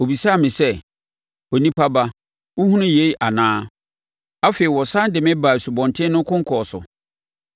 Ɔbisaa me sɛ, “Onipa ba wohunu yei anaa?” Afei ɔsane de me baa asubɔnten no konkɔn so.